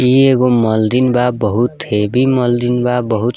ई एगो मंदिल बा बहुत हेवी मंदिल बा बहुत।